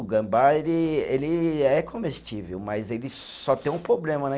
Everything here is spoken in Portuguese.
O gambá, ele ele é comestível, mas ele só tem um problema, né?